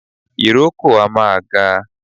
Ìrókò a máa ga